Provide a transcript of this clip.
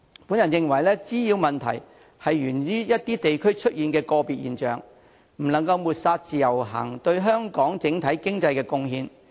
我認為滋擾問題是在一些地區出現的個別現象，我們不能抹煞自由行對香港整體經濟的貢獻。